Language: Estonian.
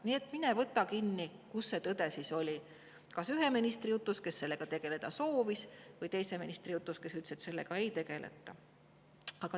Nii et mine võta kinni, kus tõde siis oli: kas sellega tegeleda soovinud ühe ministri jutus või selle teise ministri jutus, kes ütles, et teemaga ei tegeleta.